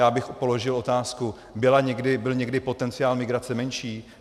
Já bych položil otázku: Byl někdy potenciál migrace menší?